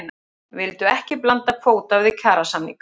Vildu ekki blanda kvóta við kjarasamninga